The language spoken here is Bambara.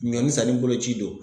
Ɲɔnni sanni boloci don.